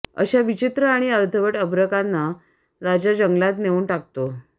अशा विचित्र आणि अर्धवट अभ्रकांना राजा जंगलात नेऊन टाकतो